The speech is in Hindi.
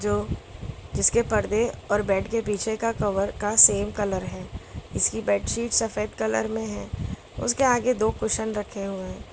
जिसके पर्दे और बेड के पीछे का कवर का सेम कलर है इसकी बेडशीट सफेद कलर में है उसके आगे दो कुशन रखे हुए --